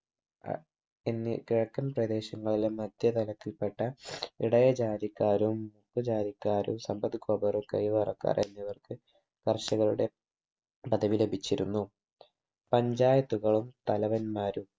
എന്നീ കിഴക്കൻ പ്രദേശങ്ങളിലെ മധ്യ തലത്തിൽ പെട്ട ഇടയ ജാതിക്കാരും ജാതിക്കാരും കൈവരക്കാർ എന്നിവർക്ക് കർഷകരുടെ പധവി ലഭിച്ചിരുന്നു panchayat കളും തലവൻമാരും